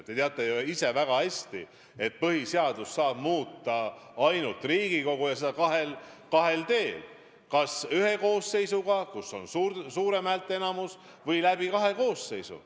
Te teate väga hästi, et põhiseadust saab muuta ainult Riigikogu, ja seda kahel teel: kas ühe koosseisuga, kus on suur häälteenamus, või läbi kahe koosseisu.